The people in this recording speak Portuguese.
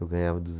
Eu ganhava